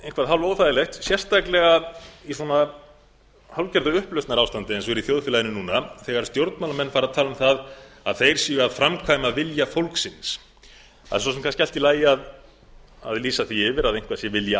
eitthvað hálfóþægilegt sérstaklega í svona hálfgerðu upplausnarástandi eins og er í þjóðfélaginu núna þegar stjórnmálamenn fara að tala um það að þeir séu að framkvæma vilja fólksins það er svo sem kannski allt í lagi að lýsa því yfir að eitthvað sé vilji